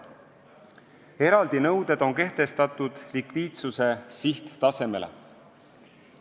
Eraldi nõuded on kehtestatud likviidsuse sihttasemele.